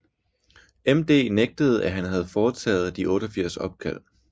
MD nægtede at han havde foretaget de 88 opkald